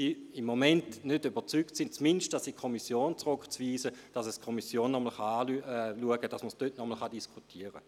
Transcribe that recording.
Der Kommissionssprecher, Grossrat Aebi, wünscht nochmals das Wort.